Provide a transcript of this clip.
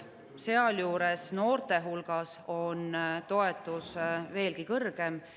Sealjuures noorte hulgas on toetus veelgi kõrgem.